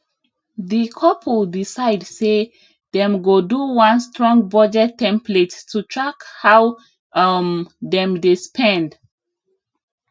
di couple decide say dem go do one strong budget template to track how um dem dey spend